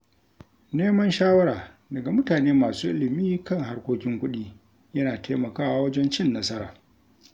Neman shawara daga mutane masu ilimi kan harkokin kuɗi, yana taimakawa wajen cin nasara.